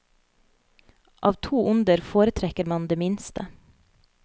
Av to onder foretrekker man det minste.